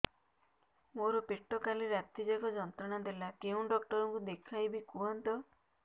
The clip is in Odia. ମୋର ପେଟ କାଲି ରାତି ଯାକ ଯନ୍ତ୍ରଣା ଦେଲା କେଉଁ ଡକ୍ଟର ଙ୍କୁ ଦେଖାଇବି କୁହନ୍ତ